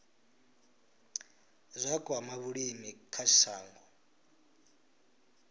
zwa kwama vhulimi kha shango